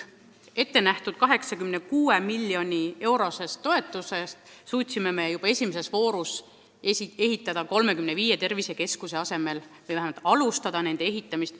Ette nähtud 86 miljoni euro suuruse toetusega suutsime esimese vooru taotluste alusel hakata ehitama 35 tervisekeskuse asemel 56 keskust.